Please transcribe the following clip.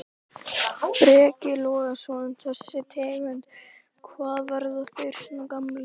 Breki Logason: Þessi tegund, hvað, verða þeir svona gamlir?